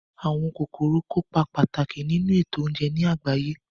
Àwọn kòkòrò kópa pàtàkì nínu ètò oúnje ní àgbáyé